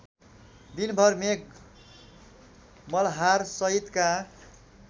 दिनभर मेघ मल्हारसहितका